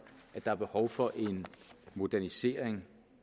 at der er behov for en modernisering